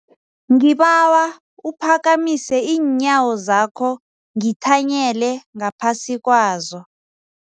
Ngibawa uphakamise iinyawo zakho ngithanyele ngaphasi kwazo.